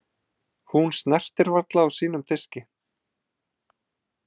Hún snertir varla á sínum diski.